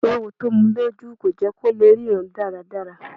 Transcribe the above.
Ewo tó mu lójú kò jẹ́ kó lè ríran dáradára.